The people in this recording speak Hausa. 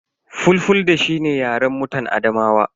Fulfulde shi ne yaren mutan Adamawa.